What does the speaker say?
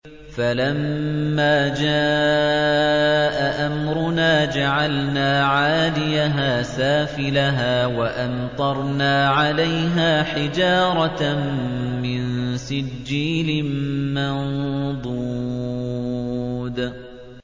فَلَمَّا جَاءَ أَمْرُنَا جَعَلْنَا عَالِيَهَا سَافِلَهَا وَأَمْطَرْنَا عَلَيْهَا حِجَارَةً مِّن سِجِّيلٍ مَّنضُودٍ